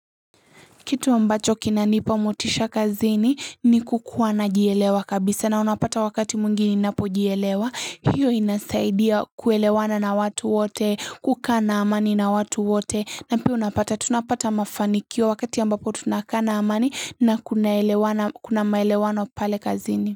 Kitu ambacho kinanipa motisha kazini ni kukuwa najielewa kabisa na unapata wakati mwingi ninapo jielewa hiyo inasaidia kuelewana na watu wote kukaa na amani na watu wote na pia unapata tunapata mafanikio wakati ambapo tunakaa na amani na tunaelewana kuna maelewano pale kazini.